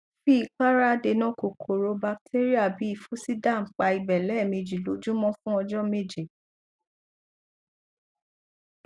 fi ìpara adènà kòkòrò batéríà bí i fusiderm pa ibẹ lẹẹmejì lójúmọ fún ọjọ méje